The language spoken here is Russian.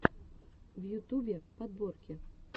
в ютубе подборки